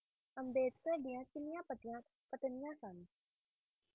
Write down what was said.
ਅੰਬੇਡਕਰ ਦਿਆ ਕਿੰਨੀਆਂ ਪਤਨੀਆਂ ਸਨ